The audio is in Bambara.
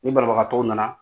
Ni banabagtɔw nana